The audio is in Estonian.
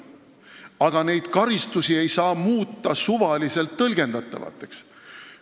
Aga neid karistusi ei saa muuta suvaliselt tõlgendatavaks.